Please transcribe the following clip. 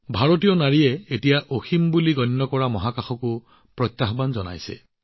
ভাৰতৰ কন্যাই এতিয়া অসীম বুলি গণ্য কৰা স্থানকো প্ৰত্যাহ্বান জনাইছে